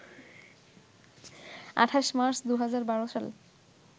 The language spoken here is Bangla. ২৮ মার্চ ২০১২ সালে